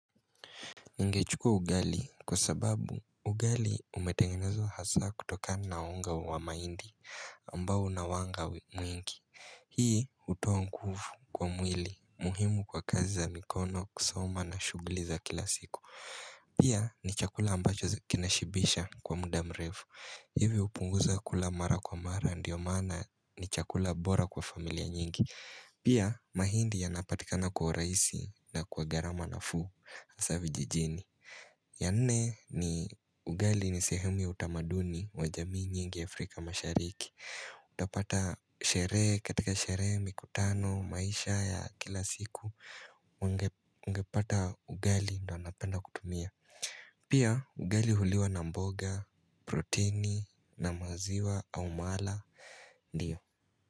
Ningechukua ugali kwa sababu ugali umetengenezwa hasaa kutokana na unga wa mahindi ambao unawanga mwingi. Hii hutoa nguvu kwa mwili muhimu kwa kazi za mikono kusoma na shughuli za kila siku. Pia ni chakula ambacho kinashibisha kwa muda mrefu. Hivi hupunguza kula mara kwa mara ndio maana ni chakula bora kwa familia nyingi. Pia mahindi yanapatikana kwa urahisi na kwa gharama nafuu hasaa vijijini. Ya nne ni ugali ni sehemu ya utamaduni wajamii nyingi Afrika mashariki utapata sherehe katika sherehe mikutano maisha ya kila siku ungepata ugali ndio anapenda kutumia Pia ugali huliwa na mboga proteini na maziwa au mala ndio.